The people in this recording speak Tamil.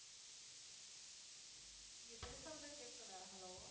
நீங்க பேசுறதே கேட்கல